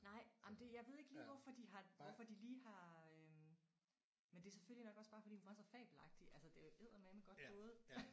Nej jamen det jeg ved ikke lige hvorfor de har hvorfor de lige har øh men det er selvfølgelig nok også bare fordi hun var så fabelagtig altså det er jo eddermame godt gået